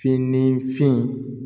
Fin ni fin